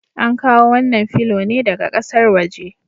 An kawo wannan filo ne daga ƙasar waje.